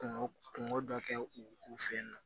Kungo kungo dɔ kɛ u u fɛ yen nɔ